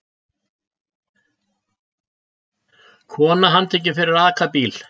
Kona handtekin fyrir að aka bíl